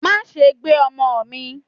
ma sé gbé omò mi!